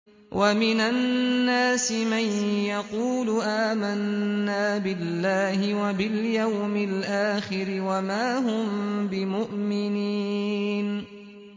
وَمِنَ النَّاسِ مَن يَقُولُ آمَنَّا بِاللَّهِ وَبِالْيَوْمِ الْآخِرِ وَمَا هُم بِمُؤْمِنِينَ